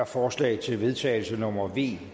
forslag til vedtagelse nummer v